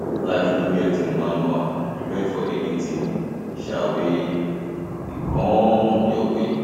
life no get um manual prepare for anything um wey um dey come your way